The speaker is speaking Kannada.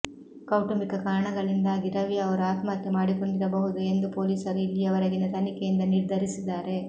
ಕೌಟುಂಬಿಕ ಕಾರಣಗಳಿಂದಾಗಿ ರವಿ ಅವರು ಆತ್ಮಹತ್ಯೆ ಮಾಡಿಕೊಂಡಿರಬಹುದು ಎಂದು ಪೊಲೀಸರು ಇಲ್ಲಿಯವರೆಗಿನ ತನಿಖೆಯಿಂದ ನಿರ್ಧರಿಸಿದ್ದಾರೆ